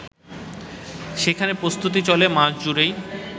সেখানে প্রস্তুতি চলে মাসজুড়েই